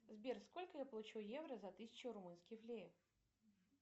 сбер сколько я получу евро за тысячу румынских леев